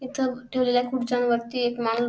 इथ ठेवलेल्या खुर्च्यां वरती एक माणूस--